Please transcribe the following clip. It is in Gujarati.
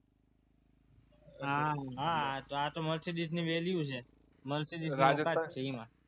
હા આ તો mercedes ની value છે mercedes